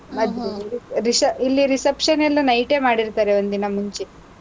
ಇಲ್ಲಿ reception ಎಲ್ಲಾ night ಎ ಮಾಡಿರ್ತಾರೆ, ಒಂದ್ ದಿನ ಮುಂಚೆ.